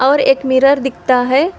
और एक मिरर दिखता है।